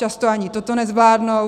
Často ani toto nezvládnou.